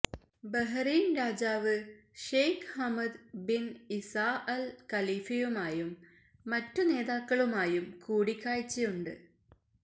Bahrain രാജാവ് Sheikh Hamad bin Isa Al ഖലീഫയുമായും മറ്റു നേതാക്കളുമായും കൂടിക്കാഴ്ചയുണ്ട്